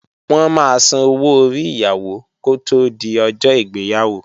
Wọ́n máa sanwó orí Ìyàwó kó tí di ọjọ́ ìgbéyàwó